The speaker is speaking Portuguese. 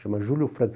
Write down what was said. Chama Júlio Franco.